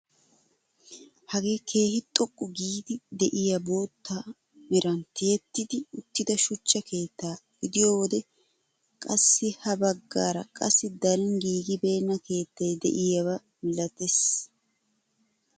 Hagee keehi xoqqu giidi de'iyaa bootta meran tiyetti uttida shuchcha keettaa gidiyoo wode qassi ha baggaara qassi darin giigibenna keettay de'iyaaba milatees.